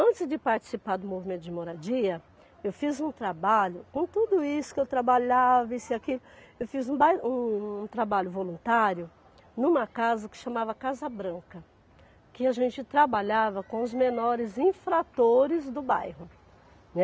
Antes de participar do movimento de moradia, eu fiz um trabalho, com tudo isso que eu trabalhava, isso e aquilo, eu fiz um bai um um trabalho voluntário numa casa que chamava Casa Branca, que a gente trabalhava com os menores infratores do bairro.